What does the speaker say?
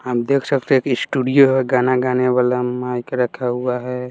आप देख सकते हैं एक स्टूडियो है गाना गाने वाला माइक रखा हुआ है।